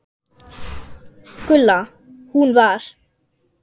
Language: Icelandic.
Gulla. hún var.